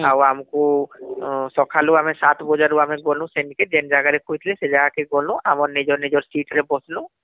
ଆଉ ଆମକୁ ସଖାଳୁ ଆମେ ସାତ ବାଜାରୁ ଆମେ ଗ୍ନୁ ଯେ ଜାଗାକେ କହିଥିଲେ ସେ ଜାଗା କେ ଗ୍ନୁ ଆମର ନିଜ ନିଜ seat ରେ ବସିଲୁ